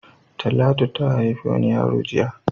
Talatu ha haifi wani yaro jiya.